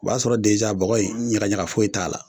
O b'a sɔrɔ bɔgɔ in ɲagaɲaga foyi t'a la